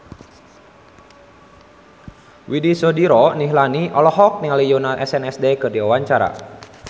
Widy Soediro Nichlany olohok ningali Yoona SNSD keur diwawancara